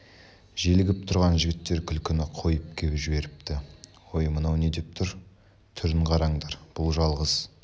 желігіп тұрған жігіттер күлкіні қойып кеп жіберіпті өй мынау не деп тұр түрін қараңдар бұл жалғыз